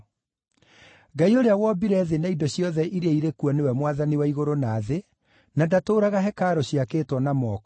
“Ngai ũrĩa wombire thĩ na indo ciothe iria irĩ kuo nĩwe Mwathani wa igũrũ na thĩ, na ndatũũraga hekarũ ciakĩtwo na moko.